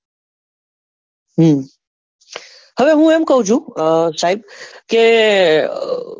હમ હવે હું એમ કઉં છું કે સહીન કે,